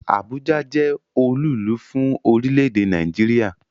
Abuja jẹ́ olúùlú fún orílẹ̀-èdè Nàìjíríà